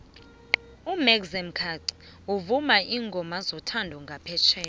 umaxia khaxi uvuma iingama zothando nqaphetjheya